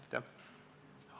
Aitäh!